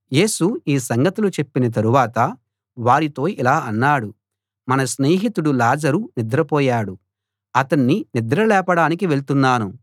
యేసు ఈ సంగతులు చెప్పిన తరువాత వారితో ఇలా అన్నాడు మన స్నేహితుడు లాజరు నిద్రపోయాడు అతన్ని నిద్ర లేపడానికి వెళ్తున్నాను